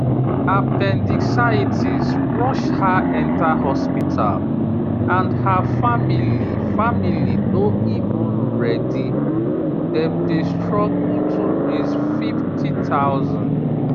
appendicitis rush her enter hospital and her family family no even ready dem dey struggle to raise 50000